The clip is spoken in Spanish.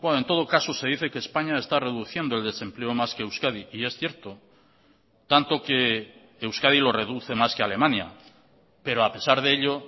en todo caso se dice que españa está reduciendo el desempleo más que euskadi y es cierto tanto que euskadi lo reduce más que alemania pero a pesar de ello